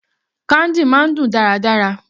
Candy máa ń dùn dáradára.